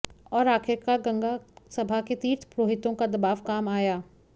और आखिरकार गंगा सभा के तीर्थ पुरोहितों का दबाव काम आया